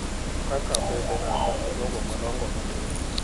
kaka mbesena kata jogo madongo matin,